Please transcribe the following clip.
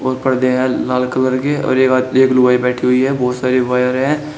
और पर्दे हैं लाल कलर के और एक आद एक लुगाई बैठी हुई है बहुत सारे वायर है।